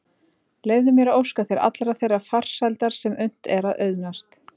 Leyfðu mér að óska þér allrar þeirrar farsældar sem unnt er að auðnast.